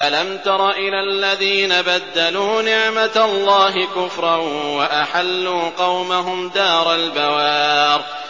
۞ أَلَمْ تَرَ إِلَى الَّذِينَ بَدَّلُوا نِعْمَتَ اللَّهِ كُفْرًا وَأَحَلُّوا قَوْمَهُمْ دَارَ الْبَوَارِ